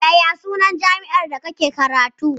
Yaya sunan jami'ar da kake karatu?